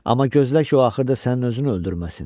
Amma gözlə ki, o axırda sənin özün öldürməsin.